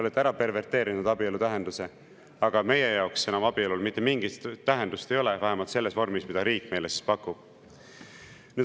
Te olete ära perverteerinud abielu tähenduse, meie jaoks enam abielul mitte mingit tähendust ei ole, vähemalt selles vormis, mida riik meile siis pakub.